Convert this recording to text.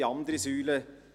Dies ist die eine Säule.